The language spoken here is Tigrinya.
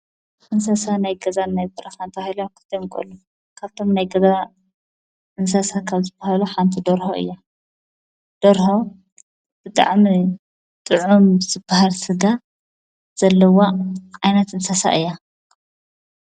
ንንሰሳ ናይ ገዛ ናይ ጵራሳንታ ሎ ክተንጎሉ ካብቶም ናይ ገብባ እንሰሳ ካብ ዝብሃሎ ሓንቲ ደርሁ እያ ደርሆ ብጥዕምኒ ጥዑም ዝበሃርስጋ ዘለዋ ዓይናት እንሰሳ እያ።